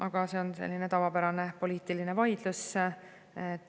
Aga see on selline tavapärane poliitiline vaidlus.